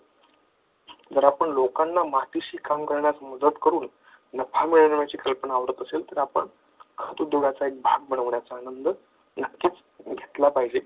जर आपण लोकांना मातीशी खोनू मदत करून नफा मिळवण्याची कल्पना आवडत असेल तर तर आपण खोतू भाग बनवण्याचा नंद नक्कीच घेतला पाहिजे.